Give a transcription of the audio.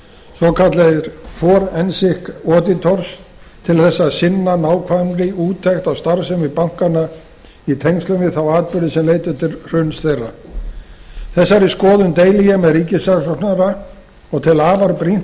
svokallaðir forensic auditors til þess að sinna nákvæmri úttekt á starfsemi bankanna í tengslum við þá atburði sem leiddu til hruns þeirra þessari skoðun deili ég með ríkissaksóknara og tel afar brýnt